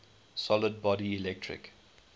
solid body electric